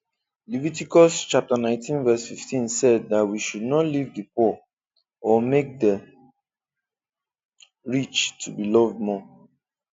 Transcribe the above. Leviticus 19:15 said that we should not leave the poor or make the rich to be loved more